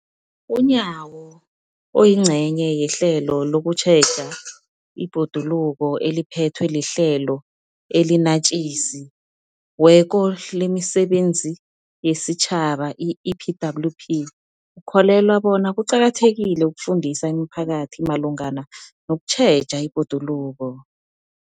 UNyawo, oyingcenye yehlelo lokutjheja ibhoduluko eliphethwe liHlelo eliNatjisi weko lemiSebenzi yesiTjhaba, i-EPWP, ukholelwa bona kuqakathekile ukufundisa imiphakathi malungana nokutjheja ibhoduluko.